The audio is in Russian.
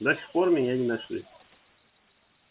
до сих пор меня не нашли